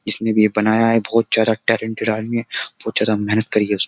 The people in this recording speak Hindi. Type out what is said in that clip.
जिसने भी ये बनाया है बहुत ज्यादा टैलेंटेड आदमी है बहुत ज्यादा मेहनत करी है उसने।